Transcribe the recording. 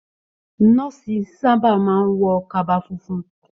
Nọ̀ọ́si sa ba máa n wọ kaba fúnfún.